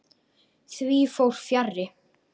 Því fór fjarri.